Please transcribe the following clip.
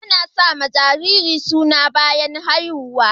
Ana sawa jariri suna bayan haihuw